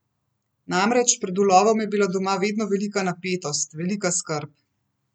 Namreč, pred ulovom je bila doma vedno velika napetost, velika skrb.